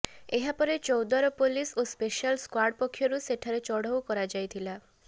ଏହାପରେ ଚୌଦ୍ୱାର ପୋଲିସ ଓ special squad ପକ୍ଷରୁ ସେଠାରେ ଚଢଉ କରାଯାଇଥିଲା